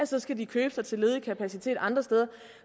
så skal købe sig til ledig kapacitet andre steder